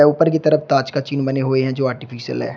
ऊपर की तरफ ताज का चिन्ह बना हुआ है जो आर्टिफिशियल है।